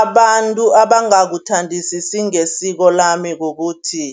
Abantu abangakuthandisisi ngesiko lami kukuthi,